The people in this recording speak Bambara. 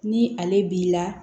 Ni ale b'i la